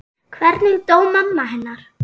Hvernig dó mamma hennar?